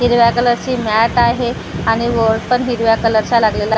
हिरव्या कलरची मॅट आहे आणि बोर्ड पण हिरव्या कलरचा लागलेला--